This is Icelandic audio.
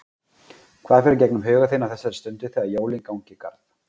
Hvað fer í gegnum huga þinn á þessari stundu þegar jólin ganga í garð?